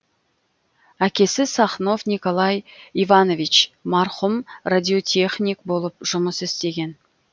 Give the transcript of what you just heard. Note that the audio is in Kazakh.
әкесі сахнов николай иванович марқұм радиотехник болып жұмыс істеген